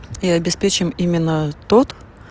и обеспечим именно тот